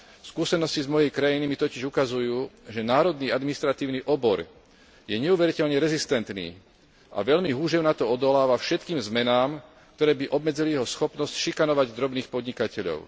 Skúsenosti z mojej krajiny mi totiž ukazujú, že národný administratívny obor je neuveriteľne rezistentný a veľmi húževnato odoláva všetkým zmenám, ktoré by obmedzili jeho schopnosť šikanovať drobných podnikateľov.